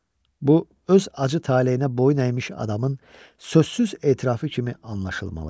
Bu öz acı taleyinə boyun əymiş adamın sözsüz etirafı kimi anlaşılmalı idi.